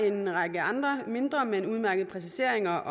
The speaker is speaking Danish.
en række andre mindre men udmærkede præciseringer